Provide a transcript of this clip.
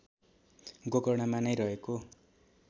गोकर्णमा नै रहेको